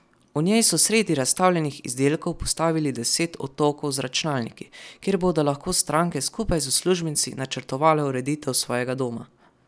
V njej so sredi razstavljenih izdelkov postavili deset otokov z računalniki, kjer bodo lahko stranke skupaj z uslužbenci načrtovale ureditev svojega doma.